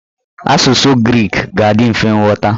Asụsụ grik ga-adị mfe nghọta.